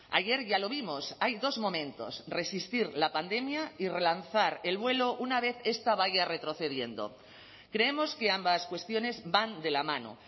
ayer ya lo vimos hay dos momentos resistir la pandemia y relanzar el vuelo una vez esta vaya retrocediendo creemos que ambas cuestiones van de la mano